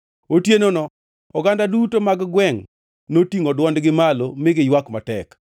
Otienono oganda duto mag gwengʼ notingʼo dwondgi malo mi giywak matek.